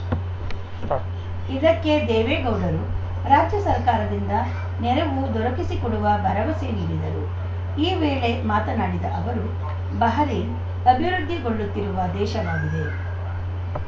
ಆ ಇದಕ್ಕೆ ದೇವೇಗೌಡರು ರಾಜ್ಯ ಸರ್ಕಾರದಿಂದ ನೆರವು ದೊರಕಿಸಿಕೊಡುವ ಭರವಸೆ ನೀಡಿದರು ಈ ವೇಳೆ ಮಾತನಾಡಿದ ಅವರು ಬಹರೇನ್‌ ಅಭಿವೃದ್ಧಿಗೊಳ್ಳುತ್ತಿರುವ ದೇಶವಾಗಿದೆ